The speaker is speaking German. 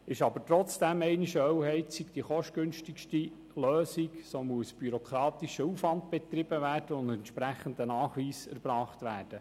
Ist aber trotzdem einmal eine Ölheizung die kostengünstigste Lösung, muss bürokratischer Aufwand betrieben und ein entsprechender Nachweis erbracht werden.